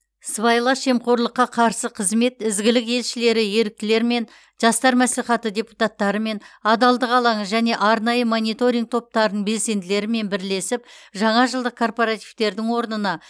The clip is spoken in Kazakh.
сыбайлас жемқорлыққа қарсы қызмет ізгілік елшілері еріктілерімен жастар мәслихаты депутаттарымен адалдық алаңы және арнайы мониторинг топтарының белсенділерімен бірлесіп жаңа жылдық корпоративтердің орнына